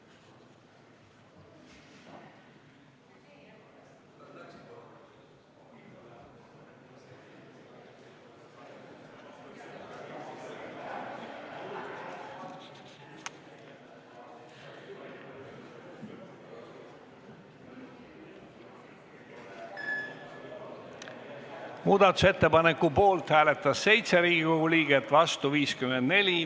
Hääletustulemused Muudatusettepaneku poolt hääletas 7 Riigikogu liiget, vastu 54.